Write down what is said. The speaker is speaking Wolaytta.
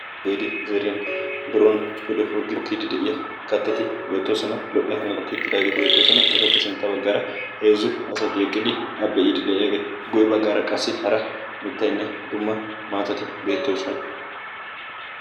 gade zerin biron pude furggio kidi de'iya kaattati beettoosona. lo"iya hanato kiittidaageeti beettoosona. etappe sintta baggaara heezzu asati eqqidi a biidi de'iyaageeti guye baggaara qassi hara mittayinne dumma maatati beettoosona.